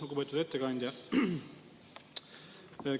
Lugupeetud ettekandja!